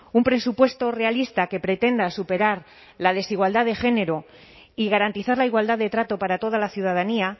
un presupuesto realista que pretenda superar la desigualdad de género y garantizar la igualdad de trato para toda la ciudadanía